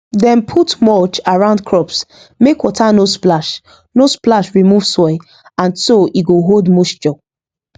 dem put mulch around crops make water no splash no splash remove soil and so e go hold moisture